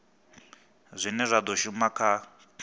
zwine zwa do shuma kha